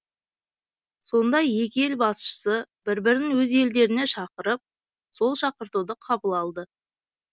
сонда екі ел басшысы бір бірін өз елдеріне шақырып сол шақыртуды қабыл алды